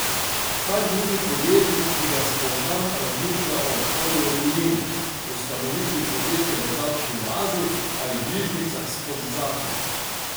Vsak drugi podjetnik, ki ga spoznam, razmišlja o odhodu v tujino, ustanovitvi podjetja v davčni oazi ali bližnjicah skozi zakon.